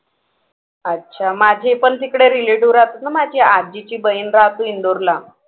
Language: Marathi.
अच्छा माझे पण तिकडे relative राहतात ना माझ्या आजीची बहीण राहते इंदूरला